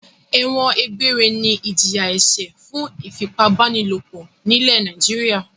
Ẹ̀wọ̀n egbére ni ìjìyà-ẹ̀ṣẹ̀ fún ìfipábánilòpọ̀ nílẹ̀ Nàìjíríà.